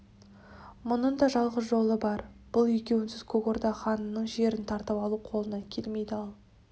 мұның да жалғыз жолы бар бұл екеуінсіз көк орда ханының жерін тартып алу қолыңнан келмейді ал